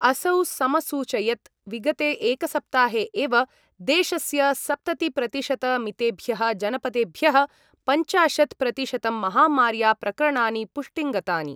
असौ समसूयचयत् विगते एकसप्ताहे एव देशस्य सप्ततिप्रतिशतमितेभ्यः जनपदेभ्यः पञ्चाशत् प्रतिशतं महामार्या प्रकरणानि पुष्टिं गतानि।